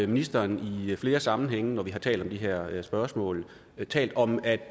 ministeren i flere sammenhænge når vi har talt om de her spørgsmål talt om at